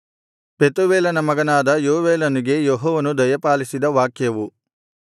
ಪೆತೂವೇಲನ ಮಗನಾದ ಯೋವೇಲನಿಗೆ ಯೆಹೋವನು ದಯಪಾಲಿಸಿದ ವಾಕ್ಯವು